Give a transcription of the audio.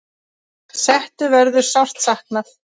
Settu verður sárt saknað.